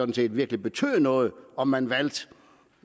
det ville betyde noget om man valgte